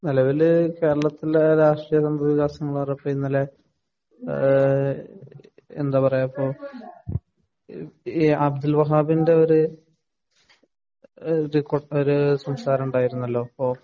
നെലവില് കേരളത്തിലെ രാഷ്ട്രീയ സംഭവവികാസങ്ങള്‍ഇന്നലെഎന്താ പറയുക ഇപ്പൊ അബ്ദുള്‍ വഹാബിന്‍റെ ഒരുഒരു സംസാരം ഉണ്ടായിരുന്നല്ലോ.